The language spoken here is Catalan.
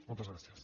moltes gràcies